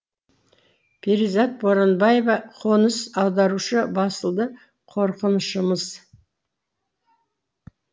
перизат боранбаева қоныс аударушы басылды қорқынышымыз